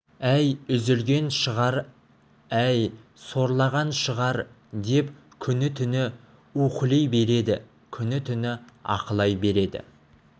әй үзілген шығар әй сорлаған шығар деп күні-түні уһілей береді күні-түні аһылай береді